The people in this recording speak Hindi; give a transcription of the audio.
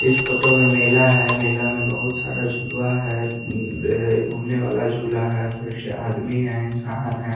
इस फोटो में मेला है मेला में बहुत सारा झुलवा है उँ अ घूमने वाला झूला है फिर से आदमी है इंसान है।